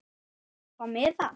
Ætlarðu að fá miða?